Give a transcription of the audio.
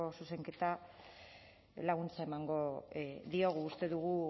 zuzenketa laguntza emango diogu uste dugu